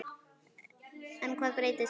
En hvað breytist núna?